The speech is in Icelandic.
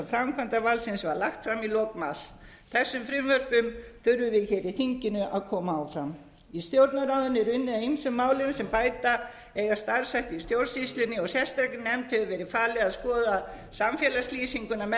framkvæmdarvaldsins var lagt fram í lok mars þessum frumvörpum þurfum við hér í þinginu að koma áfram í stjórnarráðinu er unnið að ýmsum málum sem bæta eiga starfshætti í stjórnsýslunni og sérstakri nefnd hefur verið falið að skoða samfélagslýsinguna með